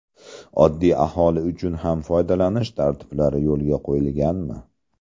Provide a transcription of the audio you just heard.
Oddiy aholi uchun ham foydalanish tartiblari yo‘lga qo‘yilganmi?